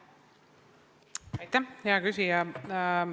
Aitäh, hea küsija!